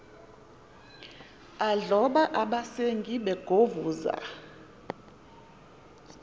adloba abasengi begovuza